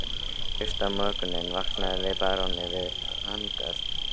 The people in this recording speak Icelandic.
Fyrsta morguninn vaknaði baróninn við hanagal á Hótel